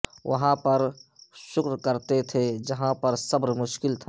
وہاں پر شکر کرتے تھے جہاںپر صبر مشکل تھا